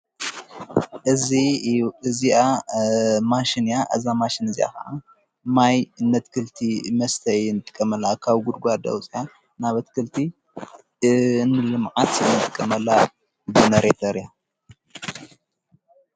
እዚኣ ማሽን እያ እዛ ማሽን እዚኸዓ ማይ እነትክልቲ መስተይ ን ቀመላ ካብ ጕድጓዳወፂያ ናብትክልቲ እንልመዓት ነን ቲ ቀመላ ብነ ሬተር እያ።